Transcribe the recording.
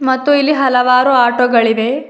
ಮತ್ತು ಇಲ್ಲಿ ಹಲವಾರು ಆಟೋ ಗಳಿವೆ.